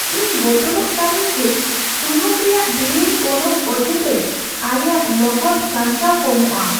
ᱤᱧ ᱵᱚᱛᱚᱨᱚᱜ ᱠᱟᱹᱟᱱᱟᱹᱧ ᱡᱮ ᱥᱩᱱᱩᱢ ᱨᱮᱭᱟᱜ ᱰᱷᱮᱨ ᱜᱚᱱᱚᱝ ᱚᱡᱮᱛᱮ ᱟᱞᱮᱭᱟᱜ ᱞᱚᱜᱚᱫ ᱥᱟᱧᱪᱟᱣ ᱠᱚᱢᱚᱜᱼᱟ ᱾